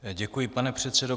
Děkuji, pane předsedo.